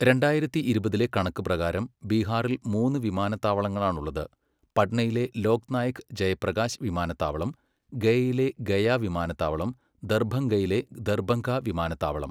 രണ്ടായിരത്തി ഇരുപതിലെ കണക്ക് പ്രകാരം ബീഹാറിൽ മൂന്ന് വിമാനത്താവളങ്ങളാണുള്ളത്, പട്നയിലെ ലോക് നായക് ജയപ്രകാശ് വിമാനത്താവളം, ഗയയിലെ ഗയ വിമാനത്താവളം, ദർഭംഗയിലെ ദർഭംഗ വിമാനത്താവളം.